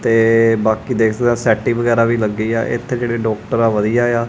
ਤੇ ਬਾਕੀ ਦੇਖ ਸਕਦੇ ਆ ਸੈਟਿੰ ਵਗੈਰਾ ਵੀ ਲੱਗੇ ਆ ਇਥੇ ਜਿਹੜੇ ਡਾਕਟਰ ਆ ਵਧੀਆ ਆ।